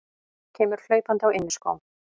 Kemur hlaupandi á inniskóm.